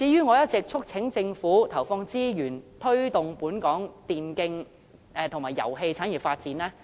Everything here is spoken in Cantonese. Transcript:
我一直促請政府投放資源，推動本港電競及遊戲產業的發展。